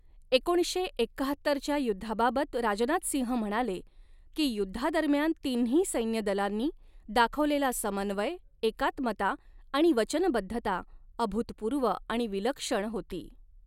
एकोणीसशे एक्काहत्तरच्या युद्धाबाबत राजनाथ सिंह म्हणाले की युद्धादरम्यान तिन्ही सेैन्यदलांनी दाखवलेला समन्वय, एकात्मता आणि वचनबद्धता अभूतपूर्व आणि विलक्षण होती.